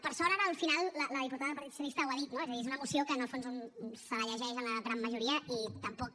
per sort ara al final la diputada del partit socialista ho ha dit no és a dir és una moció que en el fons un se la llegeix en la gran majoria i tampoc